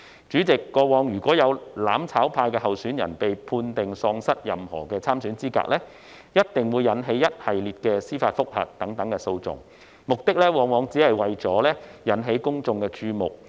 主席，過往如果有"攬炒派"候選人被判定喪失任何參選資格，必定會引起一系列的司法覆核等訴訟，目的往往只為引起公眾注目。